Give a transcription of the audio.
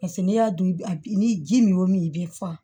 Paseke n'i y'a dun a ni ji min y'o min i bɛ fa